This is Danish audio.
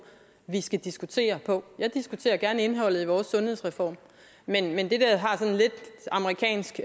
vi skal diskutere på jeg diskuterer gerne indholdet i vores sundhedsreform men ikke det der har sådan lidt amerikansk